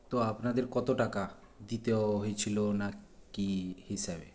তো আপনাদের কত টাকা দিতে হয়েছিল ওনার কী হিসাবে